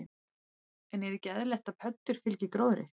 En er ekki eðlilegt að pöddur fylgi gróðri?